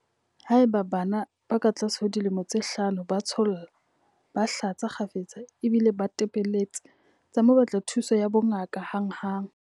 Haeba bana ba katlase ho dilemo tse hlano ba tsholla, ba hlatsa kgafetsa ba bile ba tepelletse, tsa mo batla thuso ya bongaka hanghang.